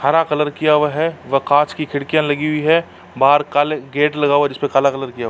हरा कलर किया हुआ है व कांच की खिडकियाँ लगी हुई हैं। बाहर काले गेट लगा हुआ है। जिस पर काला कलर किया हुआ है।